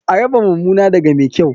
A raba mumuna daga mai kyau.